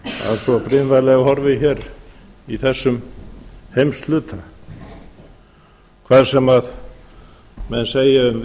að svo friðvænlega horfi hér í þessum heimshluta hvað sem menn segja um